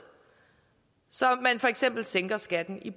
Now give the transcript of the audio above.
så man for eksempel sænker skatten i